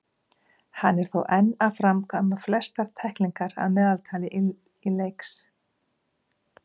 Hann er þó enn að framkvæma flestar tæklingar að meðaltali í leiks.